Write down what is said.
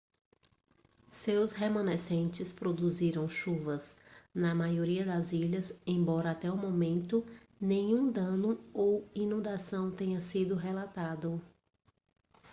seus remanescentes produziram chuvas na maioria das ilhas embora até o momento nenhum dano ou inundação tenha sido relatado